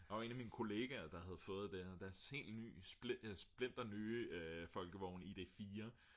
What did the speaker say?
der var en af mine kollegaer der havde fået det deres helt nye splinternye folkevogn ID4